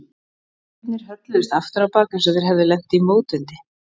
Stafirnir hölluðust aftur á bak eins og þeir hefðu lent í mótvindi.